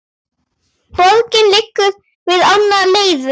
Borgin liggur við ána Leiru.